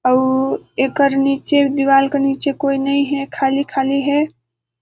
अउ एकर नीचे दीवाल का नीचे कोई नहीं हे खाली-खाली हे ।